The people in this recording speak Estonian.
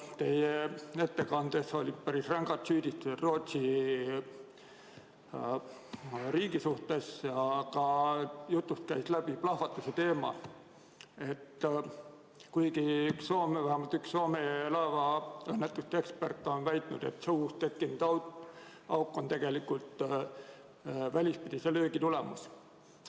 Teie ettekandes olid päris rängad süüdistused Rootsi riigi vastu ja jutust käis läbi plahvatuse teema, kuigi vähemalt üks Soome laevaõnnetuste ekspert on väitnud, et see uus tekkinud auk on tegelikult välispidise löögi tagajärg.